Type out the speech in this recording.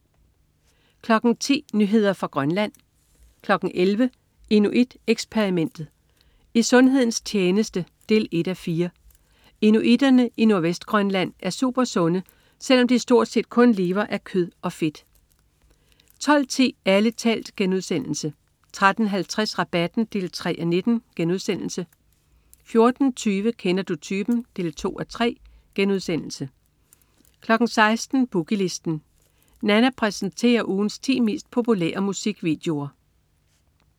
10.00 Nyheder fra Grønland 11.00 Inuit Eksperimentet. I sundhedens tjeneste 1:4. Inuitterne i Nordvestgrønland er supersunde, selv om de stort set kun lever af kød og fedt 12.10 Ærlig talt* 13.50 Rabatten 3:19* 14.20 Kender du typen? 2:3* 16.00 Boogie Listen. Nanna præsenterer ugens ti mest populære musikvideoer